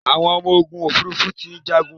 Àwọn ọmọ ogun òfurufú ti ń jàgun